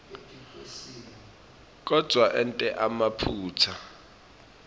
kodvwa ente emaphutsa